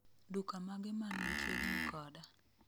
duka mage man machiegni koda